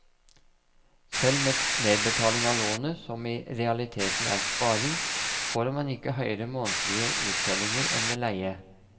Selv med nedbetaling av lånet, som i realiteten er sparing, får man ikke høyere månedlige uttellinger enn ved leie.